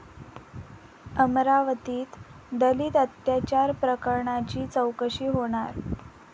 अमरावतीत दलित अत्याचार प्रकरणाची चौकशी होणार